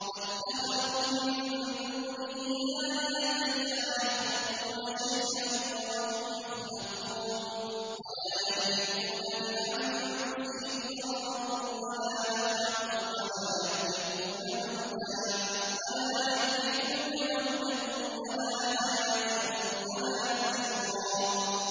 وَاتَّخَذُوا مِن دُونِهِ آلِهَةً لَّا يَخْلُقُونَ شَيْئًا وَهُمْ يُخْلَقُونَ وَلَا يَمْلِكُونَ لِأَنفُسِهِمْ ضَرًّا وَلَا نَفْعًا وَلَا يَمْلِكُونَ مَوْتًا وَلَا حَيَاةً وَلَا نُشُورًا